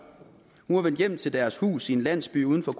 hun var vendt hjem til deres hus i en landsby uden for